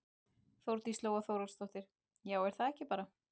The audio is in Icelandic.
Þórdís Lóa Þórhallsdóttir: Já er það ekki bara?